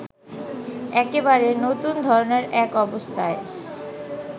একেবারে নতুন ধরনের এক অবস্থায়